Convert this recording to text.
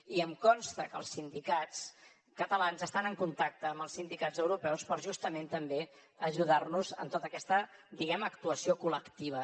i em consta que els sindicats catalans estan en contacte amb els sindicats europeus per justament també ajudar nos en tota aquesta diguem ne actuació col·lectiva